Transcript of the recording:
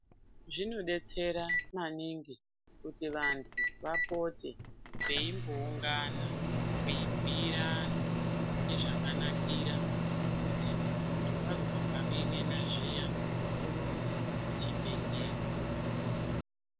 Zvinodetsera maningi kuti vanthu vapote veimboungana veibhiira anthu nezvakanakira kuti munthu wazwa pan'en'a zviyani urumbe kuchibhedhleya.